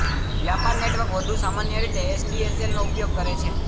વ્યાપાર નેટવર્ક વધુ સામાન્ય રીતે એસડીએસએલનો ઉપયોગ કરે છે